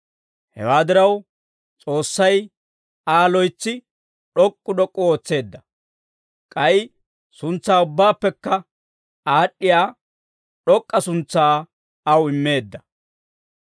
Hewaa diraw, S'oossay Aa loytsi d'ok'k'u d'ok'k'u ootseedda; k'ay suntsaa ubbaappekka aad'd'iyaa d'ok'k'a suntsaa aw immeedda.